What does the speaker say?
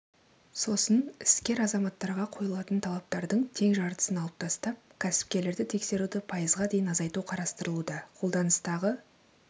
сосын іскер азаматтарға қойылатын талаптардың тең жартысын алып тастап кәсіпкерлерді тексеруді пайызға дейін азайту қарастырылуда қолданыстағы